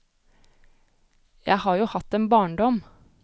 Jeg har jo hatt en barndom.